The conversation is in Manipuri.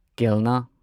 ꯀꯦꯜꯅꯥ